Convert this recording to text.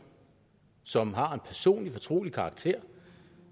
som har en personlig fortrolig karakter